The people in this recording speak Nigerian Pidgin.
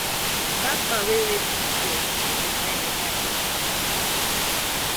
dat man wey rape dis girl no go die beta death